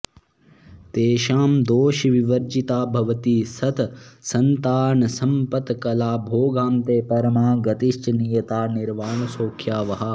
तेषां दोषविवर्जिता भवति सत्सन्तानसम्पत्कला भोगान्ते परमागतिश्च नियता निर्वाणसौख्यावहा